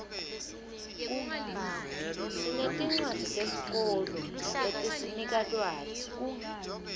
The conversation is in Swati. sinetincwadzi tesikolo letisinika lwati